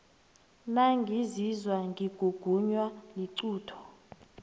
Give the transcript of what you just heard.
nangizizwa ngigugunwa liqunto